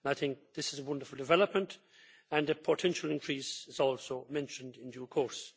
I think this is a wonderful development and a potential increase is also mentioned in due course.